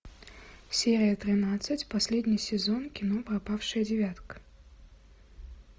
серия тринадцать последний сезон кино пропавшая девятка